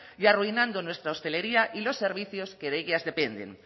y arruinando nuestra hotelería y los servicios que de ellas dependen